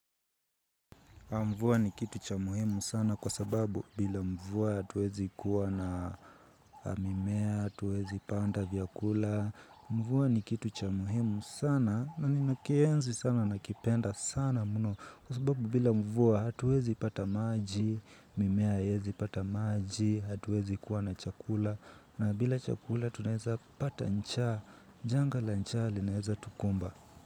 Mvuwa ni kitu cha muhimu sana kwa sababu bila mvuwa hatuwezi kuwa na mimea, hatuwezi panda vyakula, mvuwa ni kitu cha muhimu sana na ninakienzi sana na kipenda sana muno kwa sababu bila mvuwa hatuwezi pata maji, mimea haiyezi pata maji, hatuwezi kuwa na chakula na bila chakula tunaeza pata njaa, janga la njaa linaeza tukumba.